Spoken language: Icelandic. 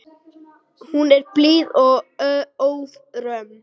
Hún er blíð og ófröm.